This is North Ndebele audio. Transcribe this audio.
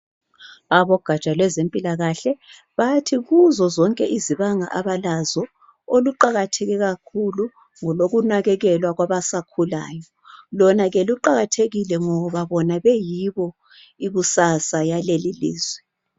Abogatsha lwezempilakahle bathi kuzo zonke izibanga abalazo oluqakatheke kakhulu ngolokunakekelwa kwabasakhulayo. Lona ke luqakathekile ngoba bona beyibo ikusasa yaleli lizwe.